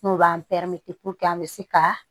N'o b'an an bɛ se ka